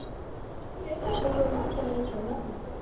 Sú hugmynd kemur nú frá mömmu.